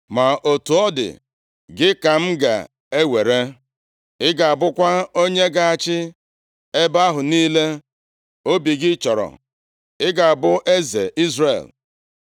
Ma otu ọ dị, gị ka m ga-ewere. Ị ga-abụkwa onye ga-achị ebe ahụ niile obi gị chọrọ; i ga-abụ eze Izrel.